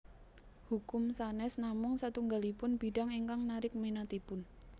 Hukum sanes namung satunggalipun bidang ingkang narik minatipun